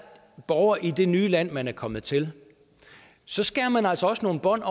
borger i det nye land man er kommet til så skærer man altså også nogle bånd